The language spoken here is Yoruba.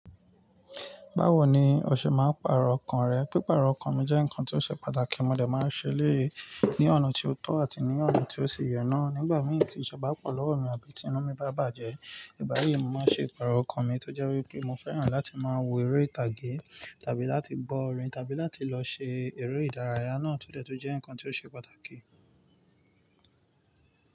Báwo ni o ṣe máa ń pàrọ̀ ọkàn rẹ? Pípàrọ̀ ọkàn mi jẹ́ nǹkan tó ṣe pàtàkì, mo dè máa ṣe eléyìí ní ọ̀nà tí ó tọ́ àti ní ọ̀nà tí ó ṣì yẹ náa. Nígbà mìí, tí ìṣe bá pọ̀ lọ́wọ́ mi àbí tí inú mi bá bàjẹ́, ìgbá yíi mọ máa ṣe ipàrọ̀ ọkàn mi tó jẹ́ wípé mọ fẹ́ràn láti máa wo eré ìtàgé tàbí láti gbọ́ orin tàbí láti lọ ṣe eré ìdárayá náà tó dẹ́ tún jẹ́ nǹkan tó ṣe pàtàkì.